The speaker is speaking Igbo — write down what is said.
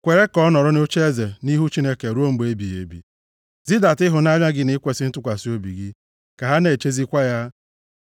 Kwere ka ọ nọrọ nʼocheeze nʼihu Chineke ruo mgbe ebighị ebi; zidata ịhụnanya gị na ikwesi ntụkwasị obi gị, ka ha na-echezikwa ya.